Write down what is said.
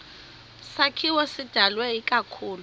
sakhiwo sidalwe ikakhulu